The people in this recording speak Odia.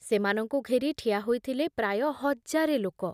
ସେମାନଙ୍କୁ ଘେରି ଠିଆ ହୋଇଥିଲେ ପ୍ରାୟ ହଜାରେ ଲୋକ ।